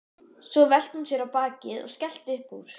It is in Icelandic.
Svo velti hún sér á bakið og skellti upp úr.